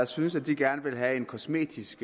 synes at de gerne ville have en kosmetisk